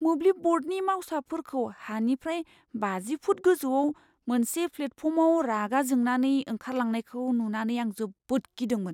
मोब्लिब ब'र्डनि मावसाफोरखौ हानिफ्राय बाजि फुट गोजौआव मोनसे प्लेटफर्माव रागा जोंनानै ओंखारलांनायखौ नुनानै आं जोबोद गिदोंमोन।